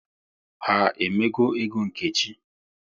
Ha emego égo Nkechi?